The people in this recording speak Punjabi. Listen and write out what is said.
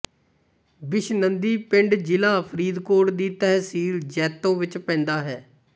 ਬਿਸ਼ਨੰਦੀ ਪਿੰਡ ਜ਼ਿਲਾ ਫਰੀਦਕੋਟ ਦੀ ਤਹਿਸੀਲ ਜੈਤੋਂ ਵਿੱਚ ਪੈਂਦਾ ਹੈ